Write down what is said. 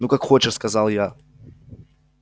ну как хочешь сказал я